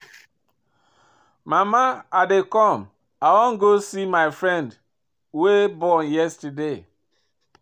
Mama I dey come, I wan go see my friend wey born yesterday